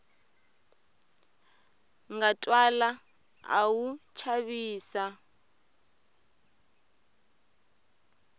nga twala a wu chavisa